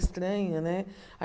Estranho, né?